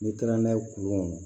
N'i taara n'a ye kuru kɔnɔ